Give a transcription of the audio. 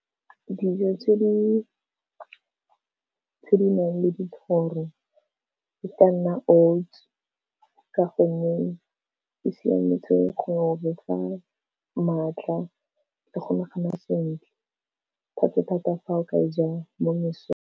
Dijo tse di tse di nang le dithoro e ka nna Oats ka gonne e siametse go re fa maatla le go nagana sentle, thata thata fa o ka e ja mo mesong.